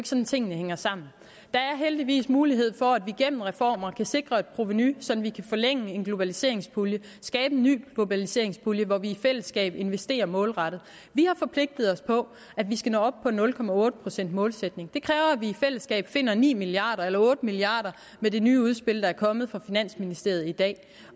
sådan tingene hænger sammen der er heldigvis mulighed for at vi gennem reformer kan sikre et provenu så vi kan forlænge en globaliseringspulje skabe en ny globaliseringspulje hvor vi i fællesskab investerer målrettet vi har forpligtet os på at vi skal nå op på en nul procents målsætning det kræver at vi i fællesskab finder ni milliarder eller otte milliarder med det nye udspil der er kommet fra finansministeriet i dag